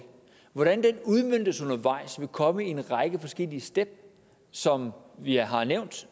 hvordan den udmøntes undervejs vil komme i en række forskellige trin som jeg har nævnt